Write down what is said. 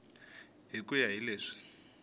hi ku ya hi leswi